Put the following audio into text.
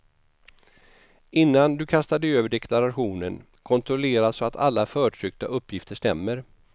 Innan du kastar dig över deklarationen kontrollera så att alla förtryckta uppgifter stämmer.